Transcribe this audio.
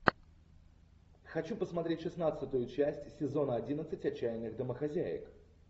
хочу посмотреть шестнадцатую часть сезона одиннадцать отчаянных домохозяек